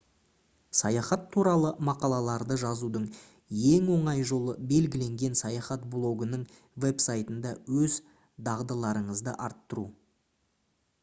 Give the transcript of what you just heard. саяхат туралы мақалаларды жазудың ең оңай жолы белгіленген саяхат блогының веб-сайтында өз дағдыларыңызды арттыру